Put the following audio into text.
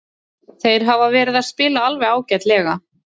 Þeir hafa verið að spila alveg ágætlega.